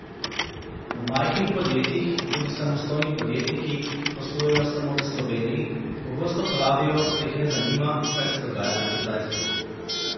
V majhnih podjetjih, tudi samostojni podjetniki, ki poslujejo samo v Sloveniji, pogosto pravijo, da jih ne zanima, kaj se dogaja na Kitajskem.